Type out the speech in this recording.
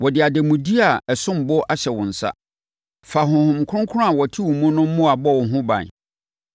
Wɔde ademudeɛ a ɛsom bo ahyɛ wo nsa. Fa Honhom Kronkron a ɔte wo mu no mmoa bɔ ho ban.